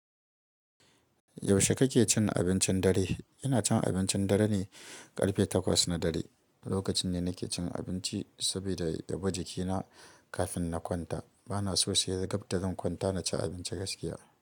Yaushe kake cin abincin dare? Ina cin abincin dare ne karfe takwas na dare. Lokacin da nake cin abinci saboda yabi jikina kafin na kwanta. Bana so sai gab da zan kwanta na ci abinci gaskiya.